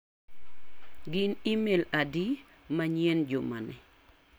Gin imel adi manyien juma ni.